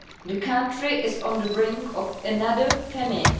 The country is on the brink of another famine.